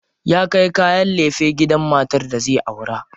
Ya kai kayan lefe gidan matar da zai aura.